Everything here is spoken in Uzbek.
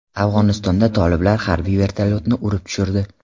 Afg‘onistonda toliblar harbiy vertolyotni urib tushirdi.